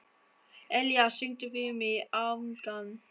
Elía, syngdu fyrir mig „Afgan“.